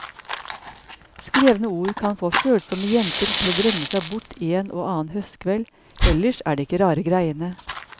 Skrevne ord kan få følsomme jenter til å drømme seg bort en og annen høstkveld, ellers er det ikke rare greiene.